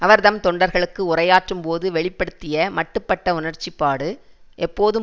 அவர் தம் தொண்டர்களுக்கு உரையாற்றும் போது வெளி படுத்திய மட்டுப்பட்ட உணர்ச்சிப்பாடு எப்போதும்